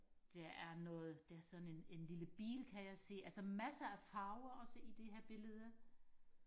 der er noget der er sådan en en lille bil kan jeg se altså massere af farver også i det her billede